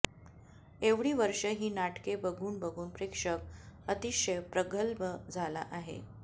एवढी वर्षे ही नाटके बघून बघून प्रेक्षक अतिशय प्रगल्भ झाला आहे